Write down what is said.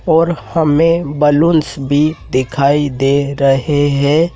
और हमें बलूंस भी दिखाई दे रहे हैं।